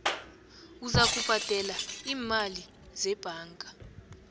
uzakubhadela iimali zebhanka